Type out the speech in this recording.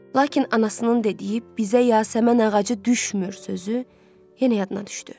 Lakin anasının dediyi bizə Yasəmən ağacı düşmür sözü yenə yadına düşdü.